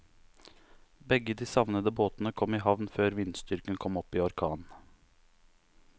Begge de savnede båtene kom i havn før vindstyrken kom opp i orkan.